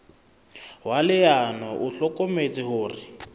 wa leano o hlokometse hore